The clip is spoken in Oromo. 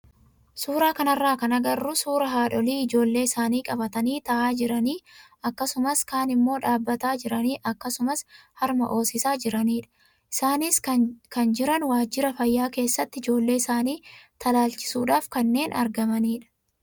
Suuraa kanarraa kan agarru suuraa haadholii ijoollee isaanii qabatanii taa'aa jiran akkasumas kaan immoo dhaabbataa jiran akkasumas harma hoosisaa jiranidha. Isaanis kan jiran waajjira fayyaa keessatti ijoollee isaanii talaalchisuudhaaf kanneen argamanidha.